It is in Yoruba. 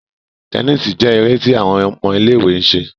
Tẹníìsì jé èrè tí àwọn ọmọ ilé-ìwé ń ṣe